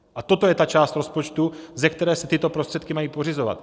A toto je ta část rozpočtu, ze které se tyto prostředky mají pořizovat.